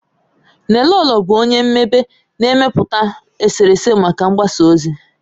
Nnelolo bụ onye mmebe, na-emepụta eserese maka mgbasa ozi.